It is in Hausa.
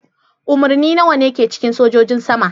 Umarni nawa ne ke cikin sojojin sama?